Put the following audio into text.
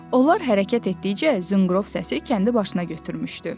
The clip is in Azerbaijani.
Onlar hərəkət etdikcə zınqrov səsi kəndi başına götürmüşdü.